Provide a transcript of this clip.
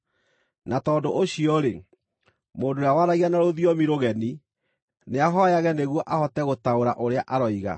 Na tondũ ũcio-rĩ, mũndũ ũrĩa waragia na rũthiomi rũgeni nĩahooyage nĩguo ahote gũtaũra ũrĩa aroiga.